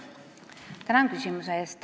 Tänan küsimuse eest!